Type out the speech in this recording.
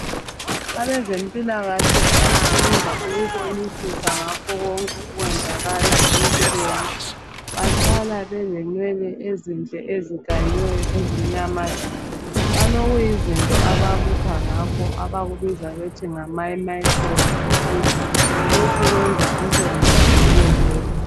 Abezempilakahle abasebenza ukubonisisa ngakho konke okwenzakala empilweni bahlala belenwele ezinhle ezikanyiweyo zimnyama tshu balokuyizinto ababuka ngakho abakubiza bethi ngama microscopic lokhu kuyenza umsebenzi wabo ube lula.